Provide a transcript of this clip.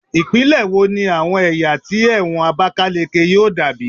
Ipinle wo ni awọn ẹya ti ẹwọn abakaleke yoo dabi